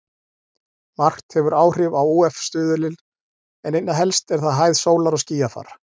Margt hefur áhrif á ÚF-stuðulinn en einna helst er það hæð sólar og skýjafar.